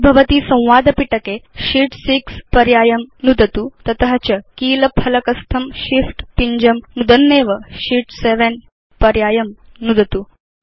आविर्भवति संवाद पिटके शीत् 6 पर्यायं नुदतु तत च कीलफ़लकस्थं Shift पिञ्जं नुदन्नेव शीत् 7 पर्यायं नुदतु